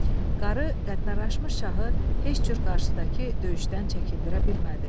Qarı qəddarrlaşmış şahı heç cür qarşıdakı döyüşdən çəkindirə bilmədi.